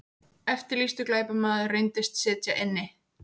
Eftirlýstur glæpamaður reyndist sitja inni